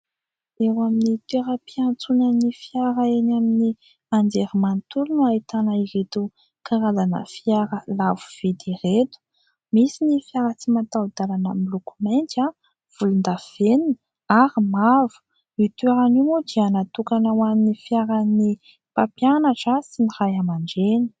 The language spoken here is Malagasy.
Eo amin'ny toeram-piantsonan'ny fiara eny amin'ny anjerimanontolo no ahitana ireto karazana fiara lafo vidy ireto. Misy ny fiara tsy mataho-dalana miloko mainty, volondavenona ary mavo. Io toerana io moa dia natokana ho an'ny fiaran'ny mpampianatra sy ny Ray aman-dReny.